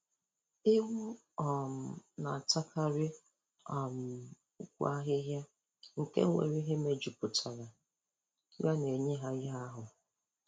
Ewu um na-atakarị um ukwu ahịhịa nke nwere ihe mejupụtara ya na-enye ha ihe n'ahụ